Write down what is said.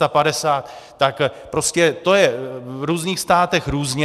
Tak prostě to je v různých státech různě.